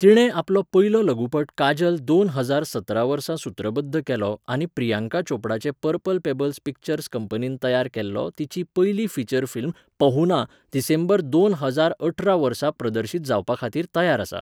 तिणें आपलो पयलो लघुपट काजल दोन हजार सतरा वर्सा सुत्रबध्द केल्लो आनी प्रियांका चोपडाचे पर्पल पेबल पिक्चर्स कंपनीन तयार केल्लो तिची पयली फीचर फिल्म 'पहुना' डिसेंबर दोन हजार अठरा वर्सा प्रदर्शीत जावपाखातीर तयार आसा.